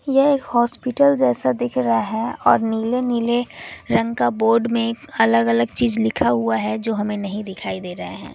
यह एक हॉस्पिटल जैसा दिख रहा है और नीले नीले रंग का बोर्ड में अलग अलग चीज लिखा हुआ है जो हमें नहीं दिखाई दे रहा है।